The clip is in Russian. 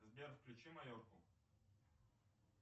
сбер включи майорку